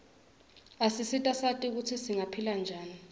asisita sati kutsi singaphila njani